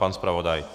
Pan zpravodaj?